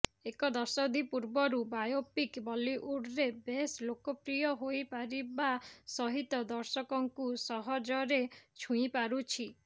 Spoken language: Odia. ଏକ ଦଶନ୍ଧୀ ପୂର୍ବରୁ ବାୟୋପିକ୍ ବଲିଉଡ଼ରେ ବେଶ୍ ଲୋକପ୍ରିୟ ହୋଇପାରିବା ସହିତ ଦର୍ଶକଙ୍କୁ ସହଜରେ ଛୁଇଁ ପାରୁଛି